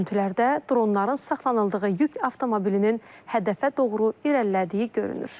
Görüntülərdə dronların saxlanıldığı yük avtomobilinin hədəfə doğru irəlilədiyi görünür.